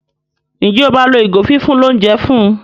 Njé o ma ló ìgò fífún l'ounjẹ fún?